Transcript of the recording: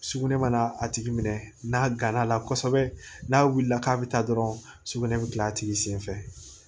Sugunɛ mana a tigi minɛ n'a gana kosɛbɛ n'a wulila k'a bi taa dɔrɔn sugunɛ bɛ gilan a tigi sen fɛ